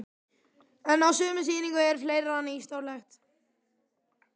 En á sömu sýningu er fleira nýstárlegt.